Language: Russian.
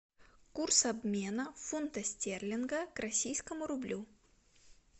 курс обмена фунта стерлинга к российскому рублю